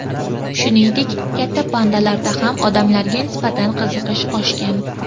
Shuningdek, katta pandalarda ham odamlarga nisbatan qiziqish oshgan.